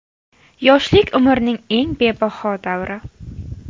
Yoshlik – umrning eng bebaho davri.